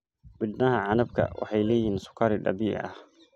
Midhaha canabka waxay leeyihiin sukari dabiici ah.